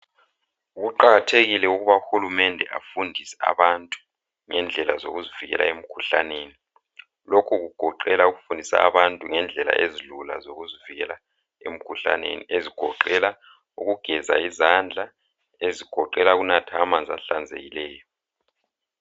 Kuqakathekile ukuba uhulumende afundise abantu ngendlela zokuzivikela emikhuhlaneni. Lokhu kugoqela ukufundisa abantu ngendlela ezilula zokuzivikela emikhuhlaneni ezigoqela ukugeza izandla, ezigoqela ukunatha amanzi ahlanzekileyo.